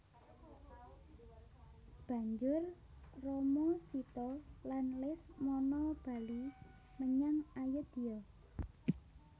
Banjur Rama Sita lan Lesmana bali menyang Ayodya